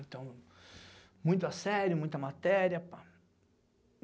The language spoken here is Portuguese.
Então, muita série, muita matéria, pá.